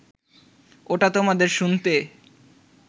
ওটা তোমাদের শুনতে